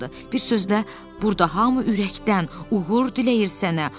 Bir sözlə, burda hamı ürəkdən uğur diləyir sənə,